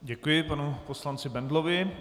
Děkuji panu poslanci Bendlovi.